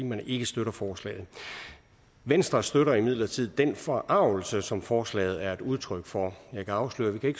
man ikke støtter forslaget venstre støtter imidlertid den forargelse som forslaget er et udtryk for jeg kan afsløre at vi